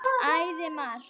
Æði margt.